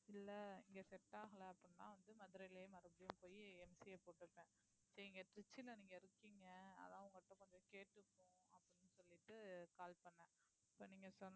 இல்ல இங்க set ஆகல அப்படின்னா வந்து மதுரையிலேயே மறுபடியும் போயி MCA போட்டிருப்பேன் நீங்க திருச்சியிலே நீங்க இருக்கீங்க அதான் உங்க கிட்ட கொஞ்சம் கேட்டுப்போம் அப்படின்னு சொல்லிட்டு call பண்ணேன் இப்ப நீங்க